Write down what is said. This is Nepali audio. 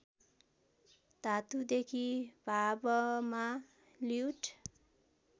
धातुदेखि भावमा ल्युट्